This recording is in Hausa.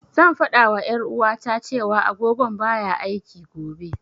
Zan fada wa ƴar'uwata, cewa agogon baya aiki, gobe.